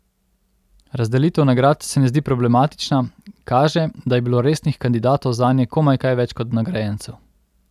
Razdelitev nagrad se ne zdi problematična, kaže, da je bilo resnih kandidatov zanje komaj kaj več kot nagrajencev.